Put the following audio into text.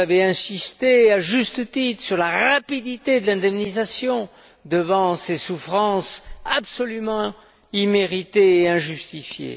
Vous avez insisté, à juste titre, sur la rapidité de l'indemnisation devant ces souffrances absolument imméritées et injustifiées.